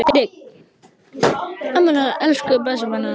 Elsku barn, þú ert þá lifandi.